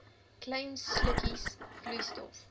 klein slukkies vloeistof